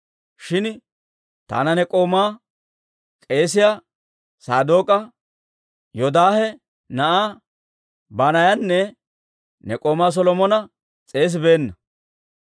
Shin taana ne k'oomaa, k'eesiyaa Sadook'a, Yoodaahe na'aa Banaayanne ne k'oomaa Solomona s'eesibeenna.